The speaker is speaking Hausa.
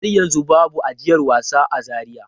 Har yanzu babu ajiyar wasa a Zaria.